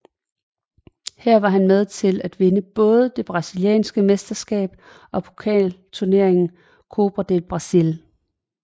Her var han med til at vinde både det brasilianske mesterskab og pokalturneringen Copa do Brasil